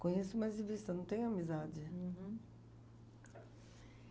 conheço, mas de vista, não tenho amizade. Uhum.